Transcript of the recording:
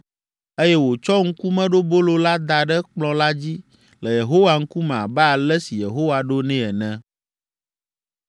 eye wòtsɔ ŋkumeɖobolo la da ɖe kplɔ̃ la dzi le Yehowa ŋkume abe ale si Yehowa ɖo nɛ ene.